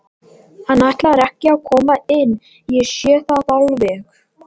Hann ætlar ekki að koma inn, ég sé það alveg.